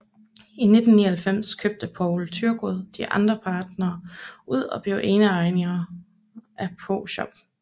I 1999 købte Poul Thyregod de andre partnere ud og blev eneejer af Proshop